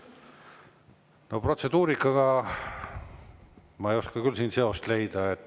Protseduurikaga ma ei oska küll siin seost leida.